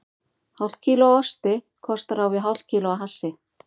Hálft kíló af osti kostar á við hálft kíló af hassi.